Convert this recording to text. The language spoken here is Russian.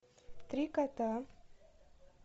три кота